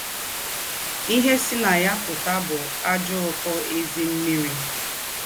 Íhe sì ná ya pụ́tà bụ́ àjọ́ ụ́kọ́ ézím̀mị́rì.